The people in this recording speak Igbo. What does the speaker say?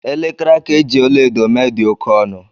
Elekere aka e ji ọla edo mee dị oke ọnụ